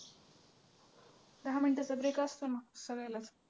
दहा मिनिटं तरी break असतो ना सगळ्याला